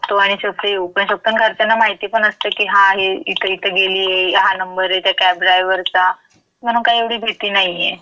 शकतो आणि सेफ्ली येऊ पण शकतो, अन् घरच्यांना माहितीपण असतं की, हां, ही इथं इथं गेलीये, हा नंबर ये त्या कॅब ड्रायवरचा म्हणून काही एवढी भीती नाहीये.